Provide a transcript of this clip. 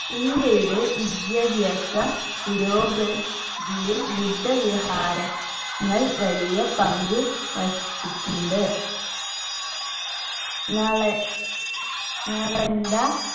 ഇന്ത്യയുടെ വിദ്യാഭ്യാസ പുരോഗ തിയിൽ ബുദ്ധ വ്യഹാരങ്ങൾ വലിയ പങ്കു വഹിച്ചിട്ടുണ്ട് നള നളന്ദ